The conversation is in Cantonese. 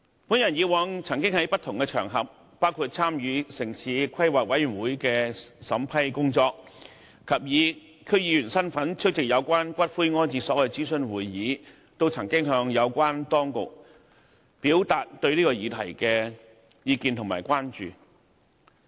我過往曾在不同場合，包括參與城市規劃委員會的審批工作，以及以區議員身份出席有關骨灰安置所諮詢會議，向有關當局表達對此議題的意見和關注。